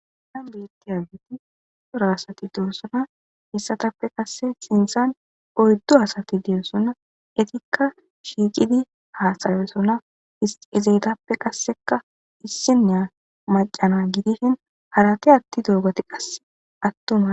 Nan beetti adgiti xora asati deesonna hissatappe qasse sintsan oyddo asati deesonna etikka shiicidi haaxaresona ezeytappe qasseka issinneya macana gidishin harate atti dogoti qasse attuma.